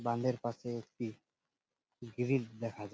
বাঁধের পাশে একটি গিরিল দেখা যাচ্ছে ।